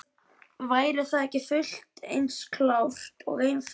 Væri það ekki fullt eins klárt og einfalt?